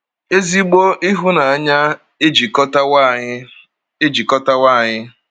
Ezigbo ịhụnanya ejikọtawo anyị. ejikọtawo anyị.